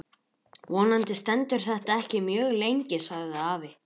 Vonandi stendur þetta ekki mjög lengi sagði afi.